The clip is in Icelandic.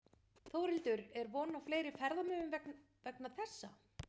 Þórhildur er von á fleiri ferðamönnum vegna þessa?